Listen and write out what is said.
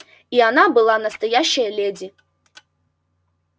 и она была настоящая леди